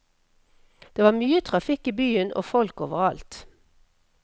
Det var mye trafikk i byen, og folk overalt.